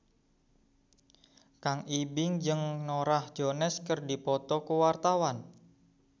Kang Ibing jeung Norah Jones keur dipoto ku wartawan